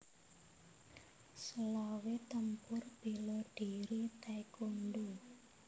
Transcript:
Selawe Tempur bela diri taekwondo